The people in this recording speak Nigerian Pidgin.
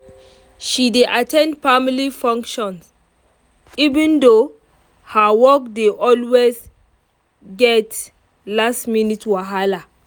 she dey at ten d family function even though her work dey always get last-minute whala